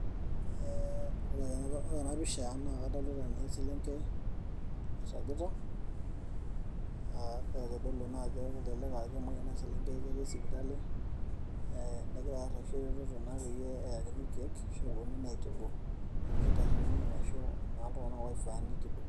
ore ena pisha naa kadolta ajo eselengei nairagita naakitodolu ajo kemoi ena selengei, etii sipitali egira areshu eretoto naa peyie eyakini irkeek peyie epuonunui aitibu iltung'anak oifaa nitubu.